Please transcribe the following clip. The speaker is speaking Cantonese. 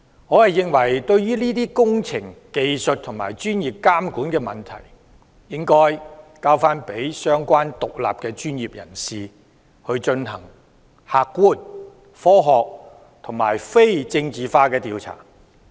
我認為這些涉及工程技術及專業監管的問題，應該交由相關的獨立專業人士進行客觀、科學和非政治化的調查。